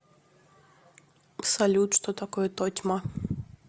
салют что такое тотьма